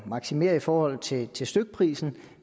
maksimere i forhold til til stykprisen